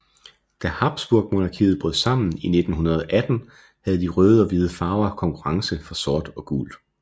Da Habsburgmonarkiet brød sammen i 1918 havde de røde og hvide farver konkurrence fra sort og gult